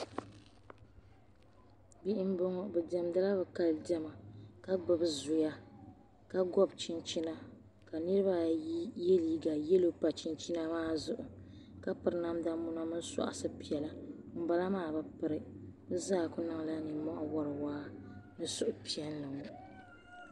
Bihi m bɔŋɔ bɛ diɛmdila bɛ Kali diɛma ka gbubi zuya ka gɔbi chinchina ka niriba ayi yɛ liiga yɛllo pa chinchina maa zuɣu ka piri namda muna ni sɔɣdi piɛlla ŋun bala maa bɛ piri ŋun bala maa kuli niŋla nimohi wari waa.